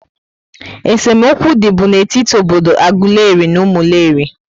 É se mokwu dị bú n'etiti obodo Aguleri na Umuleri